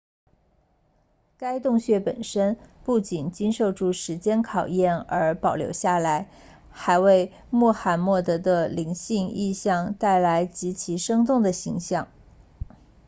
该洞穴本身不仅经受住时间考验而保留下来还为穆罕默德的灵性意向带来极其生动的形象